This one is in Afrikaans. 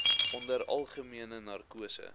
onder algemene narkose